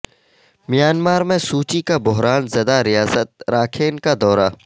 Myanmar میں Suu Kyi کا بحران زدہ ریاست راکھین کا دورہ